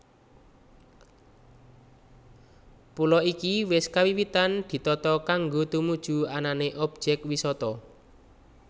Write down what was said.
Pulo iki wis kawiwitan ditata kanggo tumuju anané objek wisata